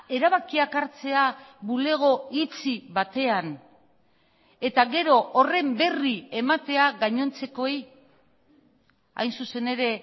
erabakiak hartzea bulego itxi batean eta gero horren berri ematea gainontzekoei hain zuzen ere